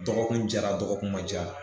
Dɔgɔkun jara dɔgɔkun ma ja